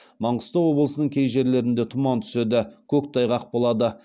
маңғыстау облысының кей жерлерінде тұман түседі көктайғақ болады